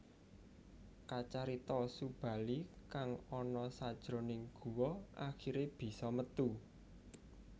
Kacarita Subali kang ana sajroning guwa akhiré bisa metu